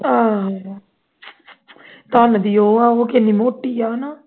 ਆਹੋ ਕੰਮ ਦੀ ਆਹ ਕਿੰਨੀ ਮੋਟੀਆਂ